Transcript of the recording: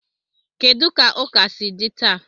Kedu ka ụka si dị taa?